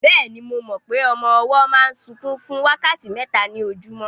Bẹ́ẹ̀ni, mo mọ pé ọmọ ọwọ́ máa ń sunkún fún wákàtí mẹ́ta ní ojúmọ́